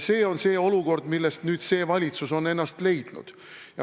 See on see olukord, millest nüüd see valitsus on ennast leidnud.